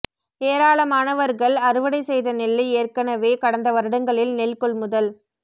ஏராளமானவர்கள் அறுவடை செய்த நெல்லை ஏற்கெனவே கடந்த வருடங்களில் நெல் கொள்முதல்